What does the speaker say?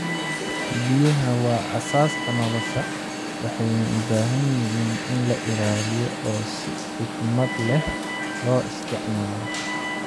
Biyaha waa aasaaska nolosha, waxayna u baahan yihiin in la ilaaliyo oo si xikmad leh loo isticmaalo.